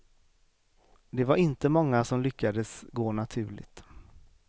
Det var inte många som lyckades gå naturligt.